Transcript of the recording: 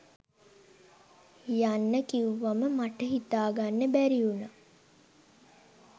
යන්න කිව්වම මට හිතාගන්න බැරි වුණා.